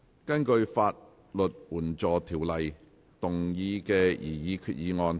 根據《法律援助條例》動議的擬議決議案。